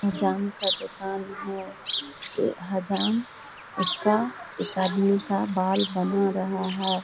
हजाम का दुकान है। ये हजाम उसका एक आदमी का बाल बना रहा है।